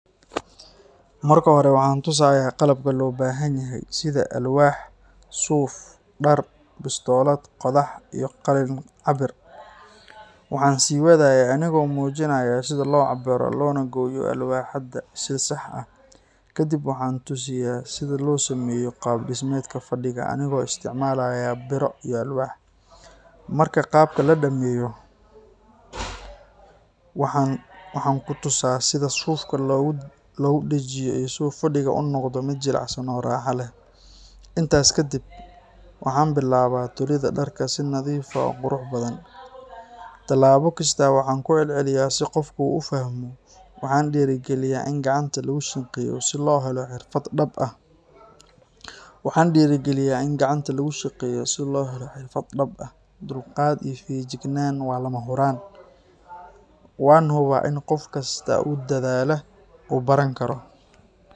Marka hore, waxaan tusayaa qalabka loo baahan yahay sida alwaax, suuf, dhar, bistoolad, qodax iyo qalin cabbir. Waxaan sii wadayaa anigoo muujinaya sida loo cabbiro loona gooyo alwaaxda si sax ah. Kadib waxaan tusiya sida loo sameeyo qaab-dhismeedka fadhiga anigoo isticmaalaya biro iyo alwaax. Marka qaabka la dhammeeyo, waxaan ku tusaa sida suufka loogu dhajiyo si uu fadhigu u noqdo mid jilicsan oo raaxo leh. Intaas kadib, waxaan bilaabaa tolidda dharka si nadiif ah oo qurux badan. Talaabo kasta waxaan ku celceliyaa si qofku u fahmo. Waxaan dhiirrigeliyaa in gacanta lagu shaqeeyo si loo helo xirfad dhab ah. Dulqaad iyo feejignaan waa lama huraan. Waan hubaa in qof kasta oo dadaala uu baran karo.